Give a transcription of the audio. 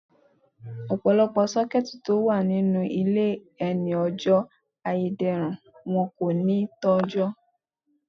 Ọ̀pọ̀lọpọ̀ Sọ́kẹ́tì tó wà nínú ilé ẹ ní ó jé ayédèrú, wọn kò ní tó ọjọ́.